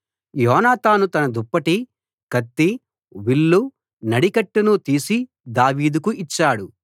యోనాతాను తన దుప్పటి కత్తి విల్లు నడికట్టును తీసి దావీదుకు ఇచ్చాడు